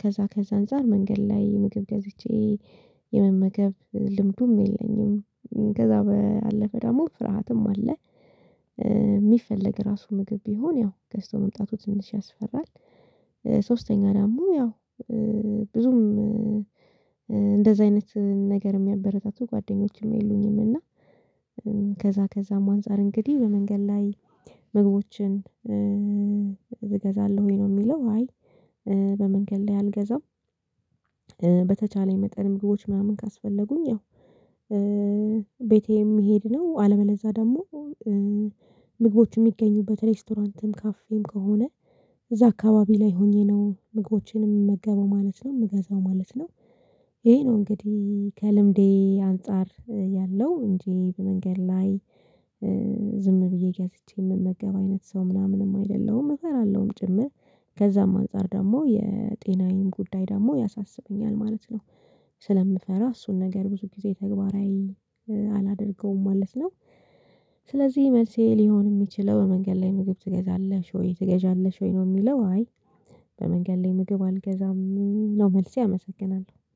ከዛ ከዛ አንፃር መንገድ ላይ ምግብ ገዝቼ የመመገብ ልምዱም የለኝም። ከዛ ባለፈ ደግሞ ፍርሃትም አለ። ሚፈለግ ራሱ ምግብ ቢሆን ያው ገዝቶ መምጣቱ ትንሽ ያስፈራል። ሶስተኛ ዳሞ ያው ብዙም እንደዚህ አይነት ነገር ሚያበረታቱ ጓደኞችም የሉኝም። እና ከዛ ከዛም አንፃር እንግዲህ በመንገድ ላይ ምግቦችን እገዛለሁኝ ነው የሚለው? አይ በመንገድ ላይ አልገዛም። በተቻለኝ መጠን ምግቦች ምናምን ካስፈለጉኝ? ያው ቤቴም ሜሄድ ነው አለበለዛ ደሞ ምግቦችን ሚገኙበት ሬስቶራንትም ካፌም ከሆነ። እዛ አካባቢ ላይ ሆኜ ነው ምግቦቼንም ምመገበው ማለት ነው ምገዛው ማለት ነው። ይሄ ነው እንግዲህ ከልምዴ አንፃር ያለው እንጂ በመንገድ ላይ ዝም ብዬ ገዝቼ መመገብ አይነት ሰው ምናምንም አይደለሁም። እፈራለሁም ጭምር ከዛም አንፃር ደግሞ የጤናዬን ጉዳይ ደሞ ያሳስበኛል ማለት ነው። ስለምፈራ እሱን ነገር ብዙ ጊዜ ተግባራዊ አላደርገውም ማለት ነው። ስለዚህ መልሴ ሊሆን የሚችለው በመንገድ ላይ ምግብ ትገዛለሽ ወይ ትገዝለሽ ወይ ነው ሚለው አይ? በመንገድ ላይ ምግብ አልገዛም ነው መልሴ አመሰግናለሁ